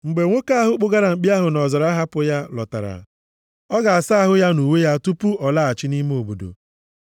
“Mgbe nwoke ahụ kpụgara mkpi ahụ nʼọzara hapụ ya, lọtara, ọ ga-asa ahụ ya na uwe ya tupu ọ laghachi nʼime obodo.